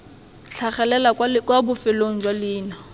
tlhagelela kwa bofelong jwa leina